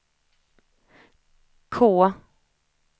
K